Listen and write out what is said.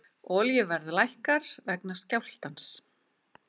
Olíuverð lækkar vegna skjálftans